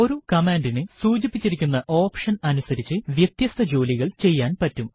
ഒരു കമാൻഡിന് സൂചിപ്പിച്ചിരിക്കുന്ന ഓപ്ഷൻ അനുസരിച്ച് വ്യത്യസ്ത ജോലികൾ ചെയ്യാൻ പറ്റും